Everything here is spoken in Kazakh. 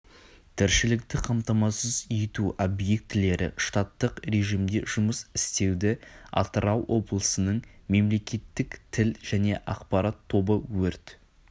тіршілікті қамтамасыз ету объектілері штаттық режимде жұмыс істеуде атырау облысының мемлекеттік тіл және ақпарат тобы өрт